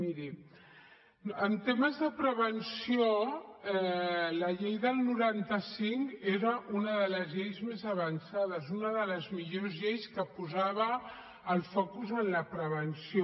miri en temes de prevenció la llei del noranta cinc era una de les lleis més avançades una de les millors lleis que posava el focus en la prevenció